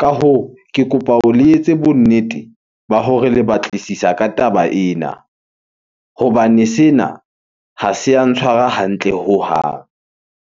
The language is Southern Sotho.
Ka hoo, ke kopa le etse bonnete ba hore le batlisisa ka taba ena hobane sena ha se ya ntshwara hantle hohang.